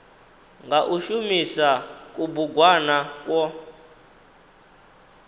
nga u shumisa kubugwana kwo